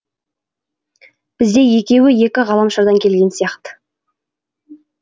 бізде екеуі екі ғаламшардан келген сияқты